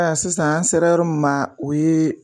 Sisan an sera yɔrɔ min ma o ye